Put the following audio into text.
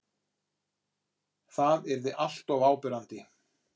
Það yrði alltof áberandi.